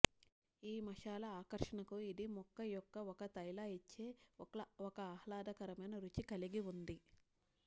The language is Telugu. ఈ మసాలా ఆకర్షణకు ఇది మొక్క యొక్క ఒక తైల ఇచ్చే ఒక ఆహ్లాదకరమైన రుచి కలిగి ఉంది